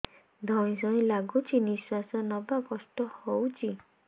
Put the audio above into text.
ଧଇଁ ସଇଁ ଲାଗୁଛି ନିଃଶ୍ୱାସ ନବା କଷ୍ଟ ହଉଚି